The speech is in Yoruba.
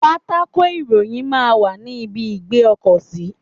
Pátákò ìròyìn máa ń wà ní ibi ìgbé ọkọ̀ sí.